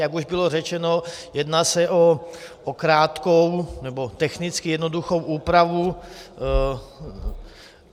Jak už bylo řečeno, jedná se o krátkou, nebo technicky jednoduchou úpravu.